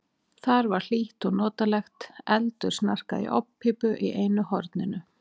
Þar var hlýtt og notalegt, eldur snarkaði í ofnpípu í einu horninu.